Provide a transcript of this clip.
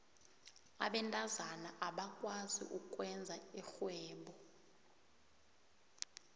abentazana abakwazi ukwenza irhwebo